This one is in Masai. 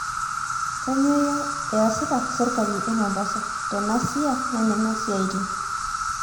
kanyoo iasita serkali emombasa tena sia naimina siatini